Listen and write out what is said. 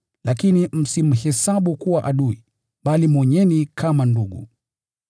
Lakini msimhesabu kuwa adui, bali mwonyeni kama ndugu.